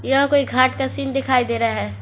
यह कोई घाट का सीन दिखाई दे रहा है।